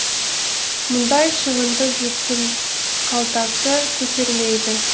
мұндай шығынды жұрттың қалтасы көтермейді